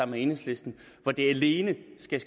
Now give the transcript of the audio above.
med enhedslisten alene skal